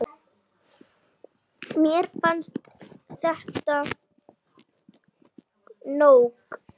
Mér fannst þetta nóg.